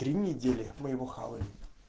три недели мы его хавали